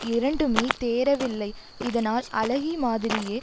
இரண்டுமே தேறவில்லை இதனால் அழகி மாதிரியே